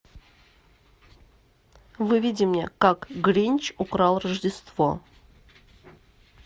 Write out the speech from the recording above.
выведи мне как гринч украл рождество